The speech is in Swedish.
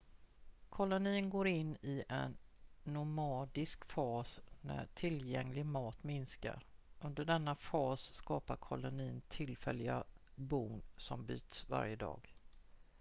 kolonin går in i en nomadisk fas när tillgänglig mat minskar under denna fas skapar kolonin tillfälliga bon som byts varje dag